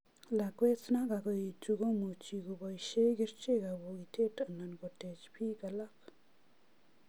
Lakwet na kakoetu komuchi kobaishee kerchek ab bokitet ana kotach pik alak.